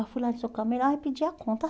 Eu fui lá no e pedi a conta.